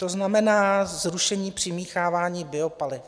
To znamená zrušení přimíchávání biopaliv.